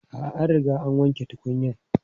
A'a, an riga an wanke tukunyan.